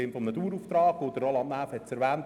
Roland Näf hat es erwähnt: